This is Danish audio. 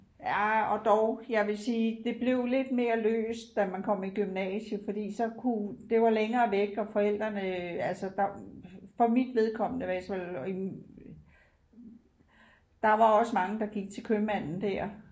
Ja og dog jeg vil sige det blev lidt mere løst da man kom i gymnasiet fordi så kunne det var længere væk og forældrene altså der for mit vedkommende hvis der var også mange der gik til købmanden der